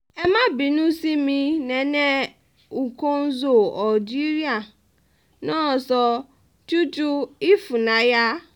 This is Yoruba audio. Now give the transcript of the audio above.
ẹ má bínú sí mi nene nkonzo algeria nàṣo chuchu ifunayà